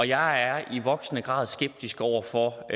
jeg er i voksende grad skeptisk over for